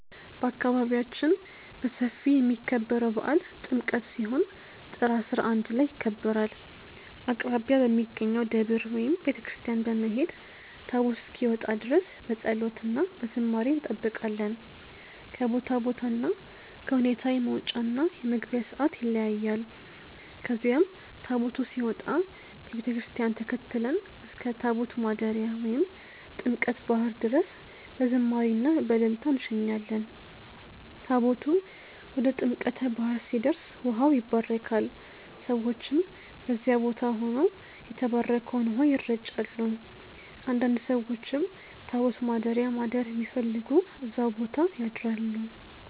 በአካባቢያችን በሰፊ የሚከበረው በዓል ጥምቀት ሲሆን ጥር 11 ላይ ይከበራል። አቅራቢያ በሚገኘው ደብር ወይም ቤተ ክርስቲያን በመሄድ ታቦት እስኪወጣ ድረስ በፀሎት እና በዝማሬ እንጠብቃለን። ከቦታ ቦታ እና ከሁኔታ የመውጫ እና የመግቢያ ሰዓት ይለያያል። ከዚያም ታቦቱ ሲወጣ ከቤተ ክርስቲያን ተከትለን እስከ ታቦት ማደሪያ ወይም ጥምቀተ ባህር ድረስ በዝማሬ እና በእልልታ እንሸኛለን። ታቦቱ ወደ ጥምቀተ ባህር ሲደርስ ውሃው ይባረካል፣ ሰዎችም በዚያ ቦታ ሆነው የተባረከውን ውሃ ይረጫሉ። አንዳንድ ሰዎችም ታቦት ማደሪያ ማደር የሚፈልጉ እዛው ቦታ ያድራሉ።